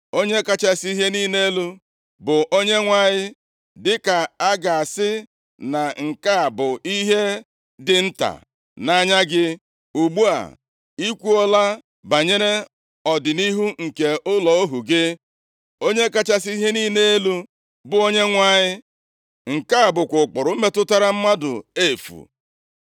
Onye kachasị ihe niile elu, bụ Onyenwe anyị, dịka a ga-asị na nke a bụ ihe dị nta nʼanya gị. Ugbu a, i kwuola banyere ọdịnihu nke ụlọ ohu gị, Onye kachasị ihe niile elu, bụ Onyenwe anyị, nke a bụkwa ụkpụrụ metụtara mmadụ efu.